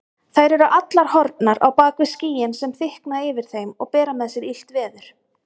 Þær eru allar horfnar bak við skýin sem þykkna yfir þeim og bera með sér illt veður.